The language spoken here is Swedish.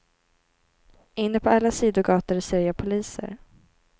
Inne på alla sidogator ser jag poliser.